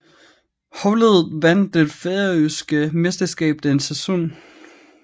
Holdet vandt det færøske mesterskab den sæson